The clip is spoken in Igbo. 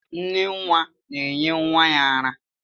Nne nwa na-enye nwa ya ara